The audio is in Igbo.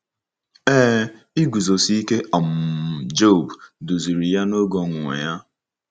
Ee, iguzosi ike um Job duziri ya n’oge ọnwụnwa ya.